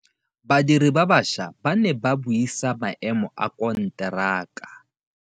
Badiri ba baša ba ne ba buisa maêmô a konteraka.